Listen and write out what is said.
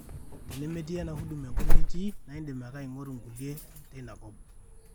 tenemetii ena huduma enkop nitii naa idim ake aingoru naa nkulie teina kop